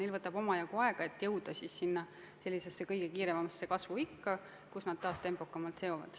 Neil võtab omajagu aega, et jõuda kõige kiiremasse kasvuikka, kus nad taas tempokamalt süsinikku seovad.